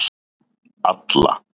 Alla